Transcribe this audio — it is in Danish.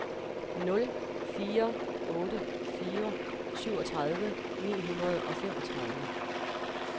nul fire otte fire syvogtredive ni hundrede og femogtredive